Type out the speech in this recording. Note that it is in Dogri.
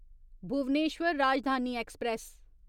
भुवनेश्वर राजधानी एक्सप्रेस